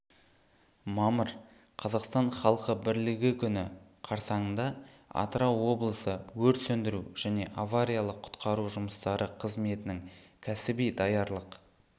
мамыр қазақстан халқы бірлігі күні қарсаңында атырау облысы өрт сөндіру және авариялық-құтқару жұмыстары қызметінің кәсіби даярлық